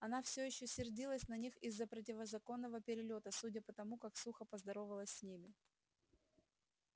она всё ещё сердилась на них из-за противозаконного перелёта судя по тому как сухо поздоровалась с ними